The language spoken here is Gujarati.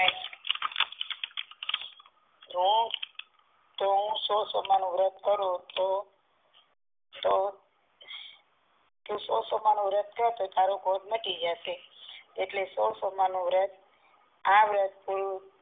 તો હું સોલ સોમવાર નું વ્રત કરું તો સોલ સોમવાર નું વ્રત કર તારો કોઢ મટી જશે એટલે સોલ સોમવાર નું આ વ્રત